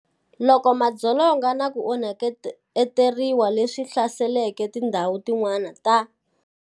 Loko madzolonga naku onheteriwa leswi hlaseleke ti ndhawu tin'wana ta.